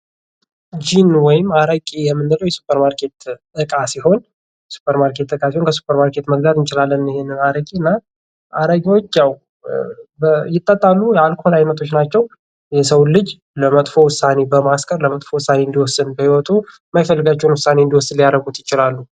ጅን ወይም አረቂ የምንለዉ የሱፐር ማርኬት እቃ ሲሆን። ከሱፐር ማርኬት መግዛት እንችላለን ይሄንን አረቂ እና አረቂዎች ያዉ ይጠጣሉ የአልኮል አይነቶች ናቸዉ። የሰዉን ልጅ ለመጥፎ ዉሳኔ በማስከር ለመጥፎ ዉሳኔ በህይወቱ መጥፎ ዉሳኔ እንዲወስን ሊያደርጉ ይችላሉ።